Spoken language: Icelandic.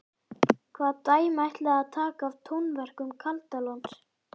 Hvaða dæmi ætlið þið að taka af tónverkum Kaldalóns?